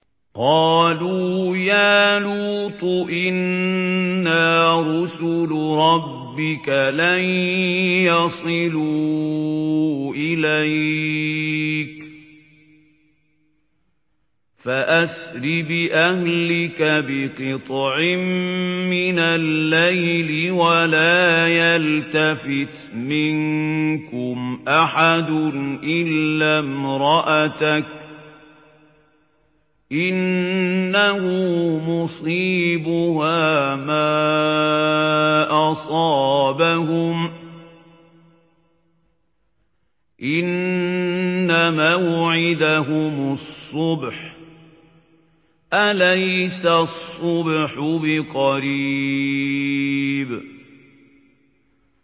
قَالُوا يَا لُوطُ إِنَّا رُسُلُ رَبِّكَ لَن يَصِلُوا إِلَيْكَ ۖ فَأَسْرِ بِأَهْلِكَ بِقِطْعٍ مِّنَ اللَّيْلِ وَلَا يَلْتَفِتْ مِنكُمْ أَحَدٌ إِلَّا امْرَأَتَكَ ۖ إِنَّهُ مُصِيبُهَا مَا أَصَابَهُمْ ۚ إِنَّ مَوْعِدَهُمُ الصُّبْحُ ۚ أَلَيْسَ الصُّبْحُ بِقَرِيبٍ